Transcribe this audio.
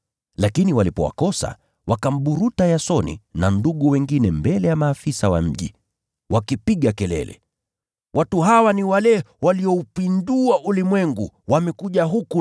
Lakini walipowakosa wakamburuta Yasoni na ndugu wengine mbele ya maafisa wa mji, wakipiga kelele: “Watu hawa ni wale walioupindua ulimwengu wamekuja huku,